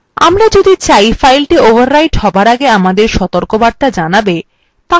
আমরা যদি চাই file overwrite হবার আগে আমাদের সতর্কবার্তা জানাবে